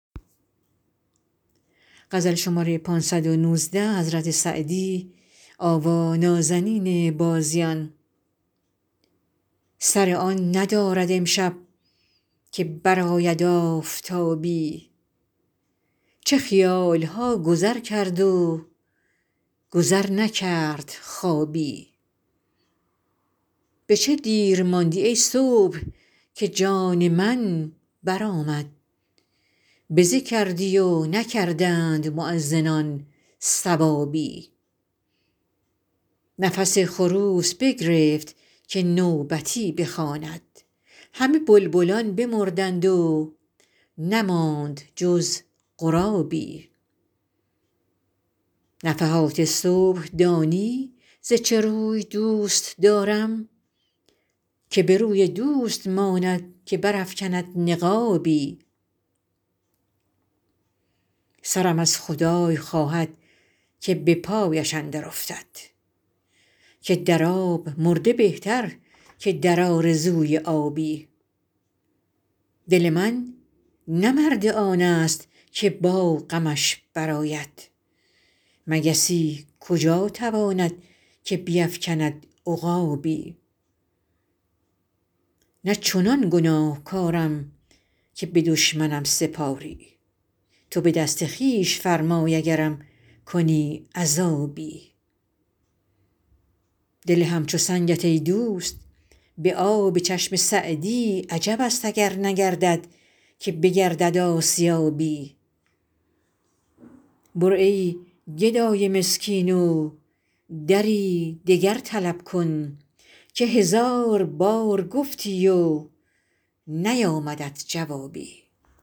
سر آن ندارد امشب که برآید آفتابی چه خیال ها گذر کرد و گذر نکرد خوابی به چه دیر ماندی ای صبح که جان من برآمد بزه کردی و نکردند مؤذنان ثوابی نفس خروس بگرفت که نوبتی بخواند همه بلبلان بمردند و نماند جز غرابی نفحات صبح دانی ز چه روی دوست دارم که به روی دوست ماند که برافکند نقابی سرم از خدای خواهد که به پایش اندر افتد که در آب مرده بهتر که در آرزوی آبی دل من نه مرد آن ست که با غمش برآید مگسی کجا تواند که بیفکند عقابی نه چنان گناهکارم که به دشمنم سپاری تو به دست خویش فرمای اگرم کنی عذابی دل همچو سنگت ای دوست به آب چشم سعدی عجب است اگر نگردد که بگردد آسیابی برو ای گدای مسکین و دری دگر طلب کن که هزار بار گفتی و نیامدت جوابی